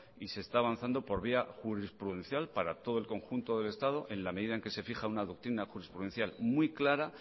y se está avanzando por vía jurisprudencial para todo el conjunto del estado en la medida en que se fija una doctrina jurisprudencial muy clara